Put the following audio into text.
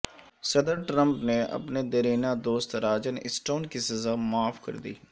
صدر ٹرمپ نے اپنے دیرینہ دوست راجر اسٹون کی سزا معاف کر دی